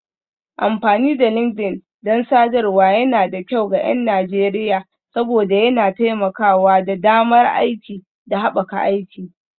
Amfani da LinkedIn don sadarwar yana da kyau ga 'yan Najeriya saboda yana taimakawa da damar aiki da haɓaka aiki.